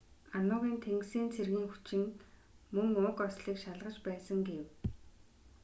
ану-ын тэнгисийн цэргийн хүчин мөн уг ослыг шалгаж байсан гэв